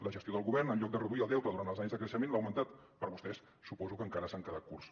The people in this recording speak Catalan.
la gestió del govern en lloc de reduir el deute durant els anys de creixement l’ha augmentat per vostès suposo que encara s’han quedat curts